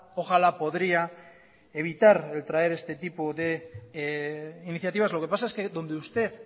ojalá podría evitar el traer este tipo de iniciativas lo que pasa es que donde usted